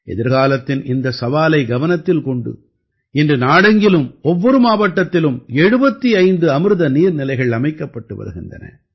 எதிர்காலத்தின் இந்தச் சவாலைக் கவனத்தில் கொண்டு இன்று நாடெங்கிலும் ஒவ்வொரு மாவட்டத்திலும் 75 அமிர்த நீர்நிலைகள் அமைக்கப்பட்டு வருகின்றன